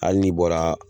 Hali n'i bɔra